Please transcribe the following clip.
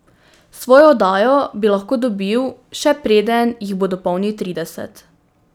Svojo oddajo bi lahko dobil še preden jih bo dopolnil trideset.